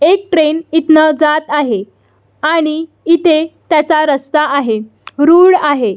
एक ट्रेन हितन जात आहे आणि इथे त्याचा रस्ता आहे रूळ आहे.